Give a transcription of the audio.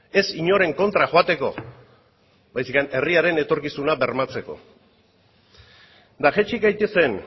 ez inoren kontra joateko baizik eta herriaren etorkizuna bermatzeko eta jaitsi gaitezen